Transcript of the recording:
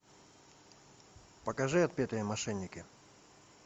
покажи отпетые мошенники